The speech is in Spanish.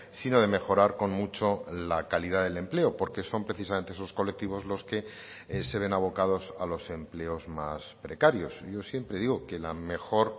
sino de mejorar con mucho la calidad del empleo porque son precisamente esos colectivos los que se ven abocados a los empleos más precarios yo siempre digo que la mejor